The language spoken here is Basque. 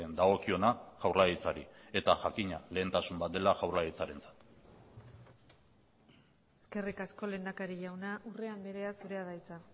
dagokiona jaurlaritzari eta jakina lehentasun bat dela jaurlaritzarentzat eskerrik asko lehendakari jauna urrea andrea zurea da hitza